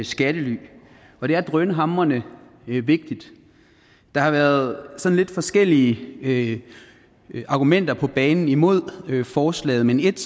skattely og det er drønhamrende vigtigt der har været sådan lidt forskellige argumenter på banen imod forslaget men et